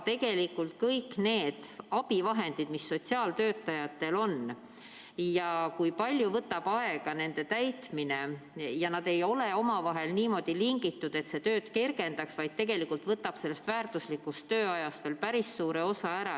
Tegelikult ka need abivahendid, mis sotsiaaltöötajatel on, ja need andmebaasid, mille täitmine võtab palju aega, ei ole omavahel niimoodi lingitud, et see tööd kergendaks, vaid tegelikult võtab see kõik väärtuslikust tööajast veel päris suure osa ära.